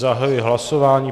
Zahajuji hlasování.